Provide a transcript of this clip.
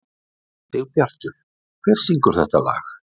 Sigbjartur, hver syngur þetta lag?